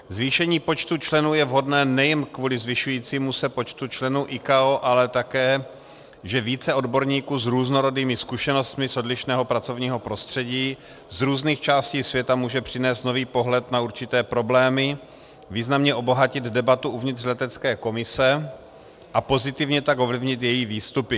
Zvýšení počtu členů je vhodné nejen kvůli zvyšujícímu se počtu členů ICAO, ale také, že více odborníků s různorodými zkušenostmi z odlišného pracovního prostředí, z různých částí světa může přinést nový pohled na určité problémy, významně obohatit debatu uvnitř letecké komise a pozitivně tak ovlivnit její výstupy.